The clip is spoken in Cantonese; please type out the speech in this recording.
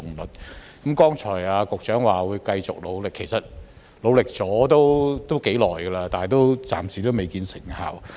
局長剛才表示會繼續努力，但其實已努力了頗長時間，暫時仍未見成效。